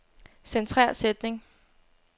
Centrer sætning.